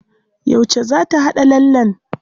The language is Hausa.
Yauce za ta haɗa lallen?